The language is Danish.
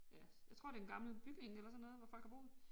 Ja jeg tror det en gammel bygning eller sådan noget hvor folk har boet